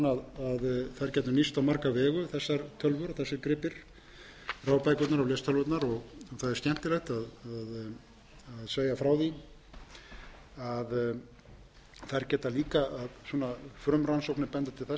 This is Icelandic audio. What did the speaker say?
að þær gætu nýst á marga vegu þessar tölvur og þessir gripir rafbækurnar og lestölvurnar það er skemmtilegt að segja frá því að þær geta líka frumrannsóknir benda til þess að þær geti